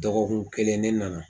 Dɔgɔkun kelen ne nana.